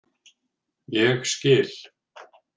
Ég skil.